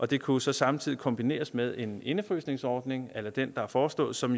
det kunne så samtidig kombineres med en indefrysningsordning a la den der er foreslået som